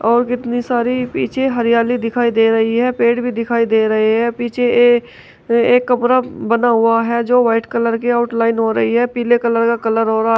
और कितनी सारी पीछे हरियाली दिखाई दे रही है पेड़ भी दिखाई दे रहे हैं पीछे ये एक कमरा बना हुआ है जो वाइट कलर के आउटलाइन हो रही है पीले कलर का कलर हो रहा--